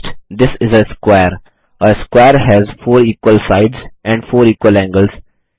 text this is a square a square has four equal sides and four equal angles